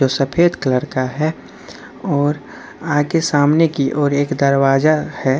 जो सफेद कलर का है और आगे सामने की और एक दरवाजा है।